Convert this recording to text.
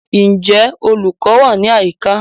Ǹjẹ́ olùkọ́ wà ní àyíká?